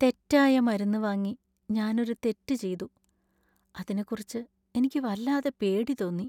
തെറ്റായ മരുന്ന് വാങ്ങി ഞാൻ ഒരു തെറ്റ് ചെയ്തു, അതിനെക്കുറിച്ച് എനിക്ക് വല്ലാതെ പേടി തോന്നി .